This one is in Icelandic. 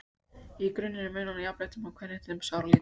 Í grunninn er munurinn á jafnréttindum og kvenréttindum sáralítill.